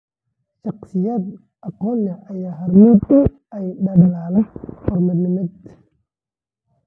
Shaqsiyaad aqoon leh ayaa hormuud u ah dadaallada horumarineed .